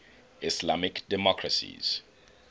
islamic democracies